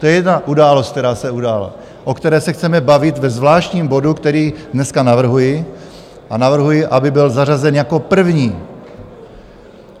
To je jedna událost, která se udála, o které se chceme bavit ve zvláštním bodu, který dnes navrhuji, a navrhuji, aby byl zařazen jako první.